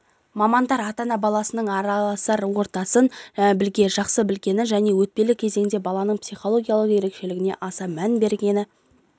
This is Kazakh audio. мамандар ата-ана баласының араласар ортасын жақсы білгені және өтпелі кезеңде баланың психологиялық ерекшелігіне аса мән бергені